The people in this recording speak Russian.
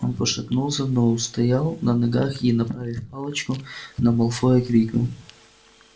он пошатнулся но устоял на ногах и направив палочку на малфоя крикнул